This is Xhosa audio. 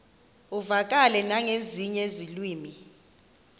uvakale nangezinye iilwimi